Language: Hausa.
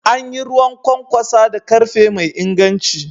An yi ruwan kwankwasa da karfe mai inganci.